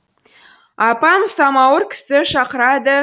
апам самауыр кісі шақырады